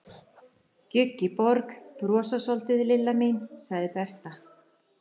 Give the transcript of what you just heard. Gjugg í borg, brosa soldið, Lilla mín, sagði Berta.